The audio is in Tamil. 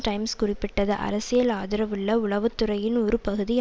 டைம்ஸ் குறிப்பிட்டது அரசியல் ஆதரவுள்ள உளவு துறையின் ஒரு பகுதி